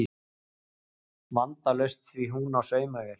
Vandalaust því hún á saumavél